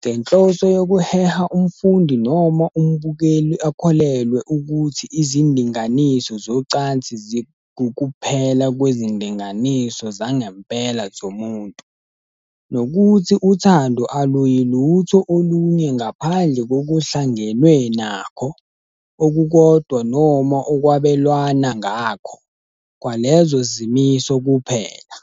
ngenhloso yokuheha umfundi noma umbukeli akholelwe ukuthi izindinganiso zocansi zingukuphela kwezindinganiso zangempela zomuntu, nokuthi uthando aluyilutho olunye ngaphandle kokuhlangenwe nakho, okukodwa noma okwabelwana ngakho, kwalezo zimiso kuphela.